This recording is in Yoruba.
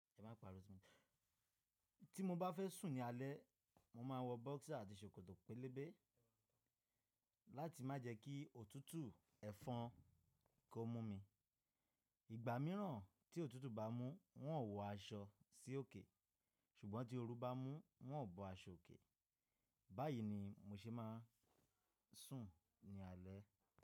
Ẹ má pa Rosemary. Tí mo bá fẹ́ sùn ní alẹ́, mo ma wọ boxer àti ṣòkòtò pélébé láti má jẹ kí òtútù ẹ̀fọn kó mú mi. Ìgbà mìíràn tí òtútù bá mú, wọ́n ó wọ aṣọ sí òkè, ṣùgbọ́n tí oru bá mú wọ́n ó bọ aṣọ òkè. Báyìí ni mo ṣe máa ń sùn ní alẹ́.